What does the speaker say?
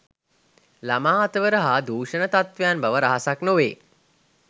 ළමා අතවර හා දූෂණ තත්වයන් බව රහසක් නොවේ